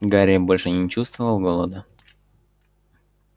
гарри больше не чувствовал голода